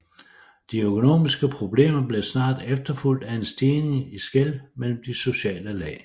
De økonomiske problemer blev snart efterfulgt af en stigning i skel mellem de sociale lag